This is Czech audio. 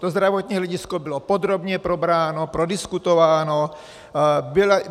To zdravotní hledisko bylo podrobně probráno, prodiskutováno.